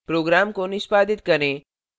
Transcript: program को निष्पादित करें